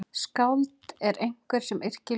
Skáld er einhver sem yrkir ljóð.